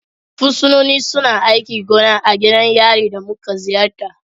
Fursunonin suna aikin gona a gidan yarin da muka ziyarta.